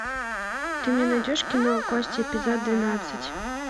ты мне найдешь кино кости эпизод двенадцать